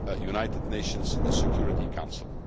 on the United Nations Security Council.